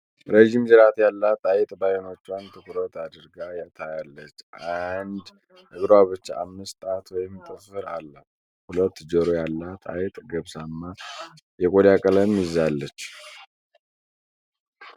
ረዥም ጅራት ያላት አይጥ በአይኖቿን ትኩር አድርጋ ታያለች። አንዱ እግሯ ብቻ አምስት ጣት ወይም ጥፍር አላት። ሁለት ጆሮ ያላት አይጥ ገብስማ የቆዳ ቀለም ይዛለች።